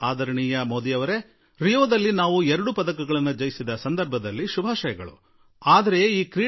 ಆದರಣೀಯ Modi sir ಎಲ್ಲಕ್ಕಿಂತ ಮೊದಲಿಗೆ ರಿಯೋದಲ್ಲಿ ನಾವು ಗೆದ್ದಿರುವ ಎರಡು ಪದಕಗಳಿಗಾಗಿ ಅಭಿನಂದನೆ